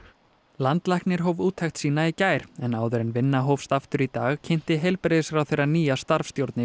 landlæknir hóf úttekt sína í gær en áður en vinna hófst aftur í dag kynnti heilbrigðisráðherra nýja starfsstjórn